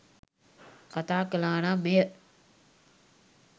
කතා කළා නම් එය